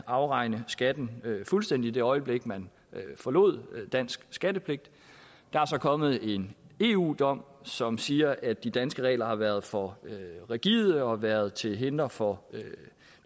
afregne skatten fuldstændigt i det øjeblik man forlod dansk skattepligt der er så kommet en eu dom som siger at de danske regler har været for rigide og været til hinder for